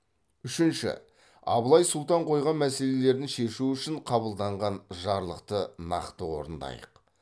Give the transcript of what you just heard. үшінші абылай сұлтан қойған мәселелерін шешу үшін қабылданған жарлықты нақты орындайық